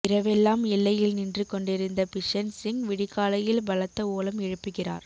இரவெல்லாம் எல்லையில் நின்று கொண்டிருந்த பிஷன் சிங் விடிகாலையில் பலத்த ஓலம் எழுப்புகிறார்